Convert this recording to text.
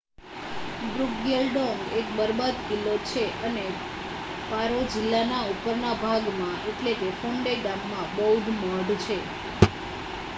ડ્રુકગ્યલ ડોંગ એક બરબાદ કિલ્લો છે અને પારો જિલ્લાના ઉપરના ભાગમાં ફોન્ડે ગામમાં બૌદ્ધ મઠ છે